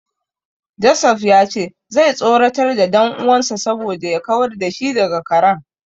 Joseph ya ce zai tsoratar da dan uwansa saboda ya kawar da shi daga karen.